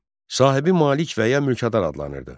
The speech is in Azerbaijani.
Sahibi malik və ya mülkədar adlanırdı.